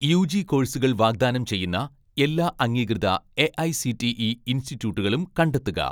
UG കോഴ്‌സുകൾ വാഗ്ദാനം ചെയ്യുന്ന എല്ലാ അംഗീകൃത എ.ഐ.സി.ടി.ഇ ഇൻസ്റ്റിറ്റ്യൂട്ടുകളും കണ്ടെത്തുക